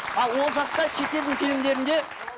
ал ол жақта шетелдің фильмдерінде